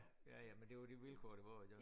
Ja ja ja men det var de vilkår der var